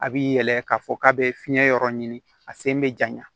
A bi yɛlɛ k'a fɔ k'a be fiɲɛ yɔrɔ ɲini a sen be ja